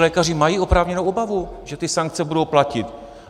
Lékaři mají oprávněnou obavu, že ty sankce budou platit.